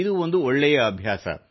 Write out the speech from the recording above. ಇದು ಒಂದು ಒಳ್ಳೇ ಅಭ್ಯಾಸ